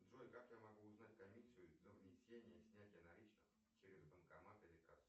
джой как я могу узнать комиссию за внесение снятие наличных через банкомат или кассу